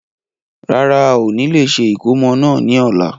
Rárá, ao ni lè ṣe ìkómọ náà ni ọ̀la.